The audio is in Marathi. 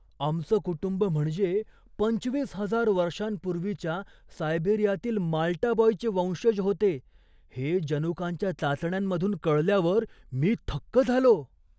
आमचं कुटुंब म्हणजे, पंचवीस हजार वर्षांपूर्वीच्या सायबेरियातील माल्टा बॉयचे वंशज होते, हे जनुकांच्या चाचण्यांमधून कळल्यावर मी थक्क झालो.